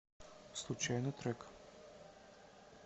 случайный трек